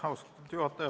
Austatud juhataja!